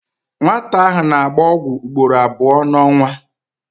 Nwata ahụ na-agba ọgwụ ugboro abụọ n'ọnwa.